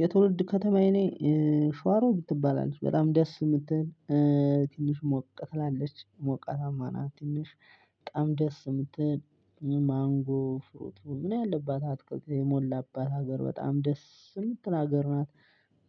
የትውልድ ከተማዬ እኔ ሽዋሮ ምትባል አለች በጣም ደስ የምትል ትንሽ ሞቀት ትላለች ሞቀታማ ናት ትንሽ በጣም ደስ የምትል ማንጎ ፍሩቱ ምን ያለባት አትክልት የሞላባት ሀገር በጣም ደስ የምትናገር ናት።